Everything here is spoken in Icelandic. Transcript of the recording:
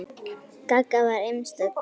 Gagga var einstök kona.